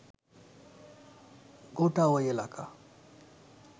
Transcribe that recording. গোটা ঐ এলাকা